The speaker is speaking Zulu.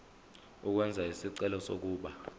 ukwenza isicelo sokuba